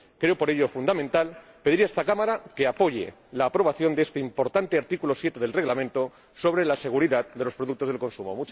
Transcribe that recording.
Creo, por ello, fundamental, pedir a esta Cámara que apoye la aprobación de este importante artículo 7 del Reglamento sobre la seguridad de los productos de consumo.